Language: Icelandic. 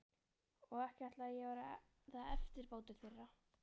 Og ekki ætlaði ég að verða eftirbátur þeirra.